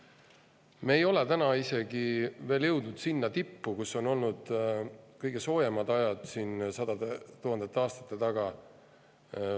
Me ei ole isegi veel jõudnud sinna tippu, kui olid kõige soojemad ajad sadade tuhandete aastate taga.